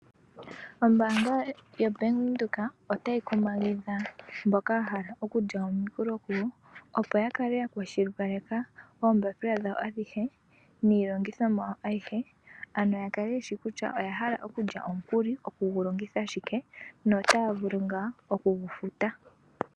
Ombaanga ya Venduka otayi kumagidha mboka yahala okulya omukuli opo yakale ya kwashilipaleka oombapila dhawo adhihe niilongithomwa yawo ayihe ,ano yakale yeshi kutya oyahala okulya omukuli, oku gu longitha shike notaya vulu ngaa oku gufuta.